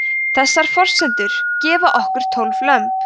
þessar forsendur gefa okkur tólf lömb